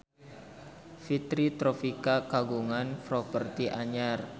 Fitri Tropika kagungan properti anyar